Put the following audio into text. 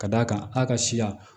Ka d'a kan a ka siya